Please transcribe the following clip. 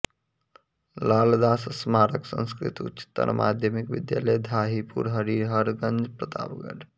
लालदास स्मारक संस्कृत उच्चतर माध्यमिक विद्यालय धाहीपुर हरिहरगंज प्रतापगढ़